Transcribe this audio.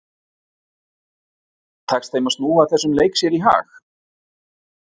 Tekst þeim að snúa þessum leik sér í hag?